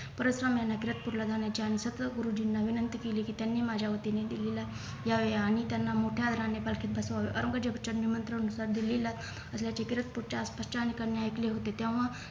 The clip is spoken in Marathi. परचम यांना तीरकपूरला जाण्याचे आणि छत्र गुरुजींना विनंती केली की त्यांनी माझ्या वतीने दिल्लीला यावे आणि त्यांना मोठ्या अरण्य पालखीत बसवावे औरंगजेबाच्या निमंत्रणानुसार दिल्लीला तीरक पूरच्या आसपासच्या अनेकांनी ऐकले होते तेव्हा